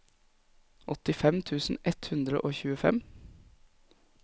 åttifem tusen ett hundre og tjuefem